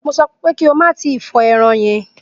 Mo sọ pé kí o má tí ì fọ ẹran yẹn!